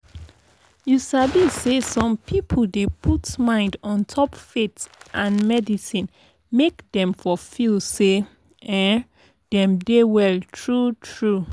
you sabi sey som people dey put mind ontop faith and medicine make dem for feel say um dem dey well true true